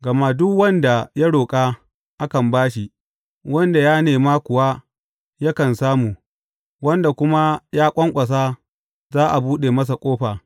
Gama duk wanda ya roƙa, akan ba shi; wanda ya nema kuwa, yakan samu, wanda kuma ya ƙwanƙwasa, za a buɗe masa ƙofa.